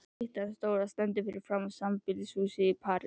Styttan stóra stendur fyrir framan sambýlishúsið í París.